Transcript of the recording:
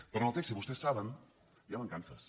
però en el text i vostès ho saben hi ha mancances